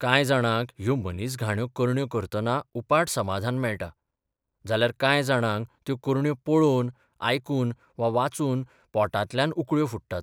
कांय जाणांक ह्यो मनीसघाण्यो करण्यो 'करतना 'उपाट समादान मेळटा, जाल्यार कांय जाणांक त्यो करण्यो 'पळोवन, आयकून वा वाचून 'पोटांतल्यान उकळ्यो फुट्टात.